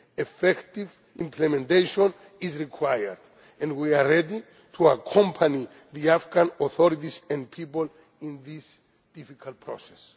take. Effective implementation is required, and we are ready to accompany the Afghan authorities and people in this difficult